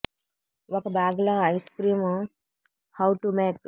ఒక బాగ్ లో ice cream how to make